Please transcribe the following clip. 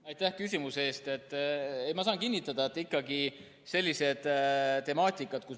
Aitäh küsimuse eest!